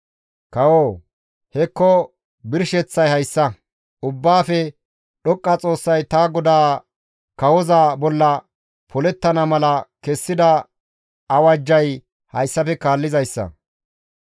«Kawoo! Hekko birsheththay hayssa; Ubbaafe Dhoqqa Xoossay ta goda kawoza bolla polettana mala kessida awajjay hayssafe kaallizayssa.